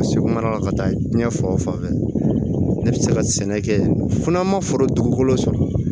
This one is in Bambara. Segu mara la ka taa diɲɛ fan o fan ne bɛ se ka sɛnɛ kɛ fo n'an ma foro dugukolo sɔrɔ